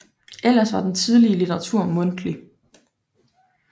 Ellers var den tidlige litteratur mundtlig